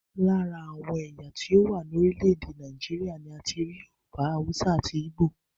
Lára àwọn ẹ̀yà tí ó wà ní orílẹ̀èdè Nàìjíríà ni a ti rí Yorùbá, Haúsá àti Ígbò